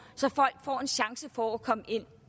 så folk får en chance for at komme ind